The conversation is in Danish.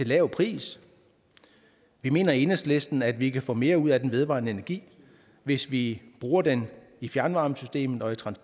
lav pris vi mener i enhedslisten at vi kan få mere ud af den vedvarende energi hvis vi bruger den i fjernvarmesystemet